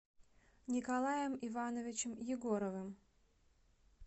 николаем ивановичем егоровым